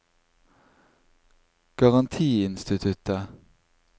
garantiinstituttet